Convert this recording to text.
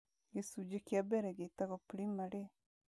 Gĩcunjĩ kĩa mbere gĩtagwo primary.